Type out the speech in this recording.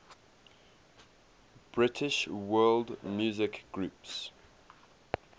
british world music groups